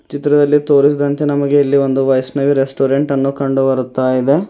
ಚಿತ್ರದಲ್ಲಿ ತೋರಿಸಿದಂತೆ ನಮಗೆ ಇಲ್ಲಿ ಒಂದು ವೈಷ್ಣವಿ ರೆಸ್ಟೋರೆಂಟ್ ಅನ್ನು ಕಂಡುಬರುತ್ತಾಯಿದೆ.